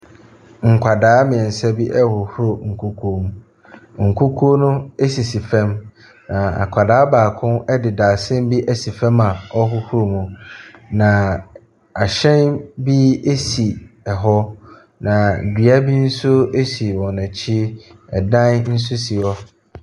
Nkwadaa mmeɛnsa rehohoro nkukuo mu. Nkukuo no sisi fam, na akwadaa baako de dadesɛn bi asi fam a ɔrehohoro mu, na ahyɛn bi si hɔ, na dua bi nso si wɔn akyi, dan nso si hɔ.